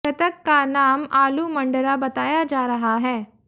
मृतक का नाम आलू मंडरा बताया जा रहा है